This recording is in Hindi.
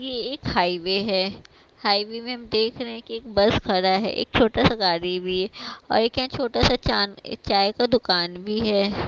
ये एक हाईवे है हाईवे में हम देख रहे हैं कि एक बस खरा है एक छोटा सा गारी भी है और एक यहा छोटा सा चांद चाय का दुकान भी है।